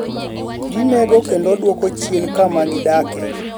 ginego kendo duoko chien kama gidake